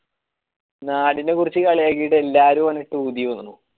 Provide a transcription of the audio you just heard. നാടിനെ കുറിച് കളിയാകീട്ട് എല്ലരുട്ട് ഓനെ ഊതി പറഞ്ഞു